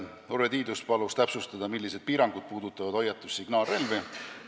Urve Tiidus palus täpsustada, millised piirangud puudutavad hoiatus- ja signaalrelvi.